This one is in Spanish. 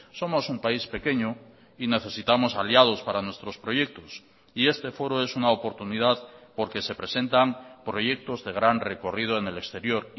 somos un país pequeño y necesitamos aliados para nuestros proyectos y este foro es una oportunidad porque se presentan proyectos de gran recorrido en el exterior